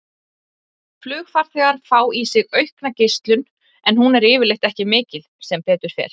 Flugfarþegar fá í sig aukna geislun en hún er yfirleitt ekki mikil, sem betur fer.